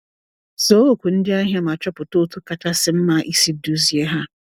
Zaa oku ndị ahịa ma chọpụta otú kachasị mma isi duzie ha.